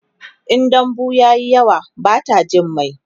in dambu tayi yawa Bata Jin mai